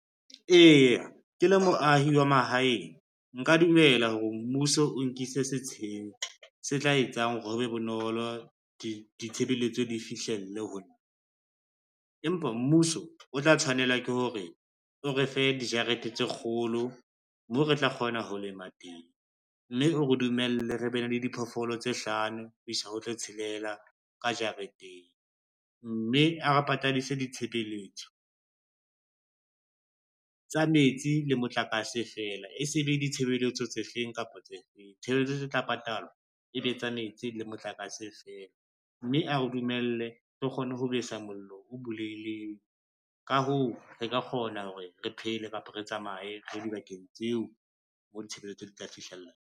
Eya ke le moahi wa mahaheng, nka dumela hore mmuso o nkise setsheng se tla etsang hore ho be bonolo ditshebeletso di fihlelle ho nna. Empa mmuso o tla tshwanela ke hore o refe dijarete tse kgolo moo re tla kgona ho lema teng, mme o re dumelle re bene le diphoofolo tse hlano ho isa ho tse tshelela ka jareteng, mme a re patadise ditshebeletso tsa metsi le motlakase fela, e se le ditshebeletso tse feng kapa tse feng tshebeletso tse tla patalwa ebe tsa metsi le motlakase fela. Mme a re dumelle re kgone ho besa mollo o buleileng ka hoo, re ka kgona hore re phele kapa re tsamaye re ye dibakeng tseo mo ditshebeletso di tla fihlella.